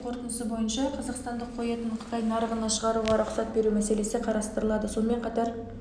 тексеру нәтижесінің қорытындысы бойынша қазақстандық қой етін қытай нарығына шығаруға рұқсат беру мәселесі қарастырылады сонымен қатар